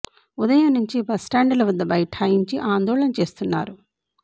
ఉదయం నుంచే bus stand ల వద్ద బైఠాయించి ఆందోళన చేస్తున్నారు